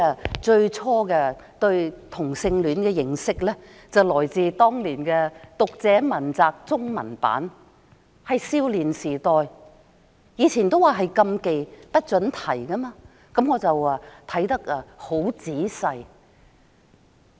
我最初對同性戀的認識，是來自我們青少年時代的《讀者文摘》中文版，當年同性戀問題是禁忌的話題，不准提及。